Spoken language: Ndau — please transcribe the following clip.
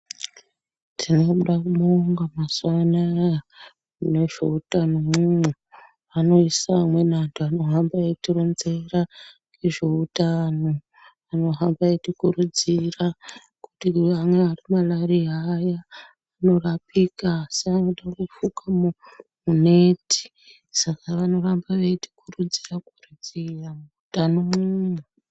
Tinoda kubonga mazuwa anaya munezveutano mwomwo anoisa amweni anhu anohamba eitironzera ngezveutano anohamba eitikuridzira kuti anyari marariya aya anorapika asi anode kufuke neti saka vanoramba veitikurudzira kuridzira muutano umwomwo.